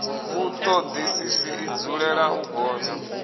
vhutodisisi i dzulela u gonya